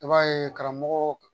I b'a ye karamɔgɔ